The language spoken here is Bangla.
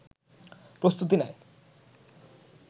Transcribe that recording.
প্রস্তুতি নেয়